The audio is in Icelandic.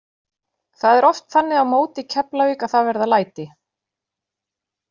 Það er oft þannig á móti Keflavík að það verða læti.